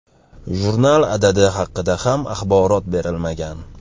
Jurnal adadi haqida ham axborot berilmagan.